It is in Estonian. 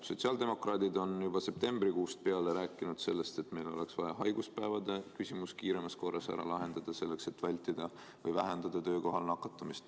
Sotsiaaldemokraadid on juba septembrikuust peale rääkinud, et meil oleks vaja haiguspäevade küsimus kiiremas korras ära otsustada, et vähendada töökohal nakatumist.